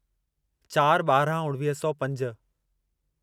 चारि ॿाराहं उणिवीह सौ पंज